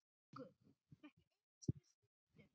Haukur: Ekki einu sinni stundum?